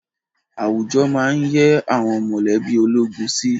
Àwùjọ máá ń yẹ́ àwọn mọ̀lẹ́bí ológun sí